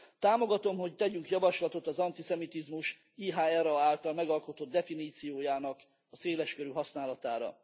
Támogatom, hogy tegyünk javaslatot az antiszemitizmus IHRA által megalkotott definíciójának széles körű használatára.